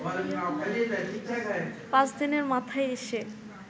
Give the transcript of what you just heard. পাঁচ দিনের মাথায় এসে